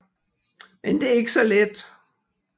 Men det er ikke så let